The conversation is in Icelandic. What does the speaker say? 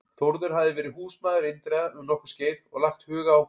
Þórður hafði verið húsmaður Indriða um nokkurt skeið og lagt hug á